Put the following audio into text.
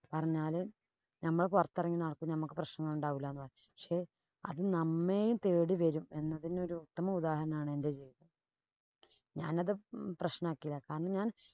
പറഞ്ഞാല് നമ്മള് പൊറത്തെറങ്ങി നടക്കും. നമ്മക്ക് പ്രശ്നമുണ്ടാവൂല എന്ന് പറഞ്ഞ്. പക്ഷേ, അത് നമ്മേം തേടി വരും. അതിനൊരു ഉത്തമ ഉദാഹരണമാണ് എന്‍റെ ജീവിതം. ഞാനത് പ്രശ്നമാക്കില. കാരണം, ഞാന്‍